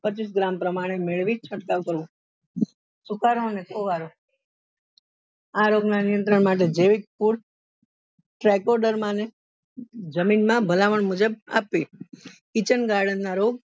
પચીસ gram પ્રમાણે મેળવી છટકાવ કરવો સુકારા આ રોગ ના નિયંત્રણ માટે જમીન માં ને ભલામણ મુજબ આપવી kitchen garden ના રોગ